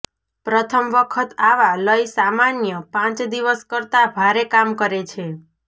પ્રથમ વખત આવા લય સામાન્ય પાંચ દિવસ કરતાં ભારે કામ કરે છે